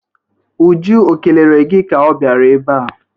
Uju o kelere gi ka ọ bịara ebe a?